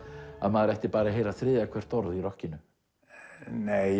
maður ætti bara að heyra þriðja hvert orð í rokkinu nei